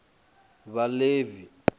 vhaḽevi